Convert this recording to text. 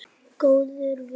Góður vinur.